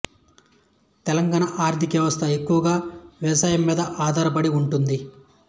తెలంగాణ ఆర్థిక వ్యవస్థ ఎక్కువగా వ్యవసాయం మీద ఆధారపడి ఉంటుంది